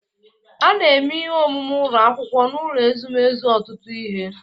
A na-eme ihe omume ụlọ akwụkwọ n'ụlọ ezumezu ọtụtụ ihe.